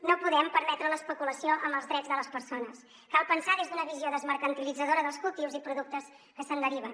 no podem permetre l’especulació amb els drets de les persones cal pensar des d’una visió desmercantilitzadora dels cultius i productes que se’n deriven